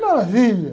Maravilha!